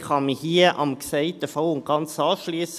Ich kann mich hier dem Gesagten voll und ganz anschliessen.